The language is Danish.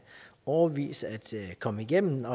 årevis at komme igennem med